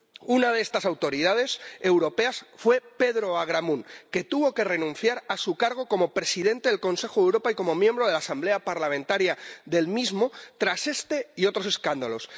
Una de estas autoridades europeas fue Pedro Agramunt, que tuvo que renunciar a su cargo como presidente del Consejo de Europa y como miembro de su Asamblea Parlamentaria tras este y otros escándalos.